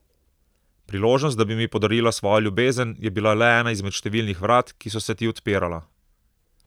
Priložnost, da bi mi podarila svojo ljubezen, je bila le ena izmed številnih vrat, ki so se ti odpirala.